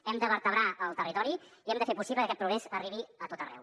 hem de vertebrar el territori i hem de fer possible que aquest progrés arribi a tot arreu